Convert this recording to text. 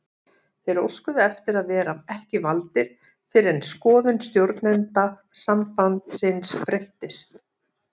Þeir óskuðu eftir að vera ekki valdir fyrr en skoðun stjórnenda sambandsins breyttist.